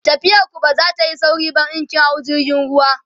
tafiyar ku ba zatayi sauri ba in kin hau jirgin ruwa